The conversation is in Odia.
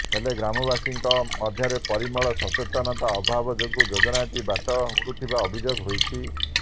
ହେଲେ ଗ୍ରାମବାସୀଙ୍କ ମଧ୍ୟରେ ପରିମଳ ସଚେତନତା ଅଭାବ ଯୋଗୁଁ ଯୋଜନାଟି ବାଟ ହୁଡିଥିବା ଅଭିଯୋଗ ହୋଇଛି